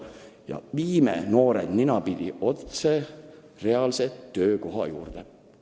Ning edasi viime noored ninapidi otse reaalse töökoha juurde!